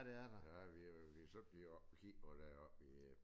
Ja vi øh vi var selv lige oppe og kigge på det oppe i øh